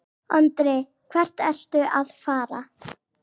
Andri: Hvert ertu að fara?